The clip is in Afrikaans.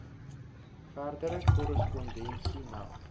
verdere korrespondensie meld